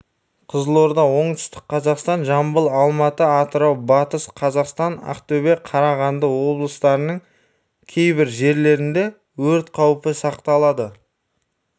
қызылорда оңтүстік қазақстан жамбыл алматы атырау батыс қазақстан ақтөбе қарағанды облыстарының кейбір жерлерінде өрт қаупі сақталады